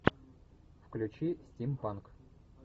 включи стимпанк